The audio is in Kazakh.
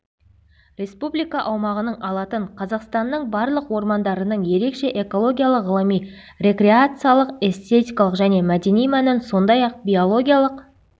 республика аумағының алатын қазақстанның барлық ормандарының ерекше экологиялық ғылыми рекреациялық эстетикалық және мәдени мәнін сондай-ақ биологиялық